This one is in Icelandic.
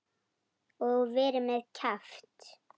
Og verið með kjaft.